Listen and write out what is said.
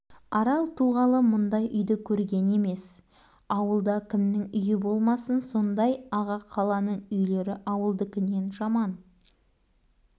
арал туғалы мұндай үйді көрген емес ауылда кімнің үйі болмасын сондай аға қаланың үйлері ауылдыкінен жаман